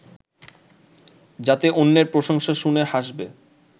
যাতে অন্যের প্রশংসা শুনে হাসবে